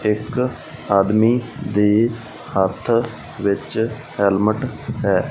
ਇਕ ਆਦਮੀ ਦੇ ਹੱਥ ਵਿੱਚ ਹੈਲਮਟ ਹੈ।